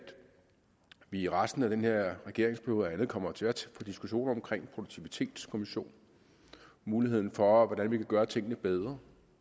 vi i resten af den her regeringsperiode kommer til at få diskussioner omkring produktivitetskommission muligheden for hvordan vi kan gøre tingene bedre